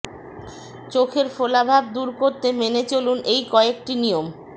চোখের ফোলাভাব দূর করতে মেনে চলুন এই কয়েকটি নিয়ম